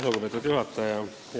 Lugupeetud juhataja!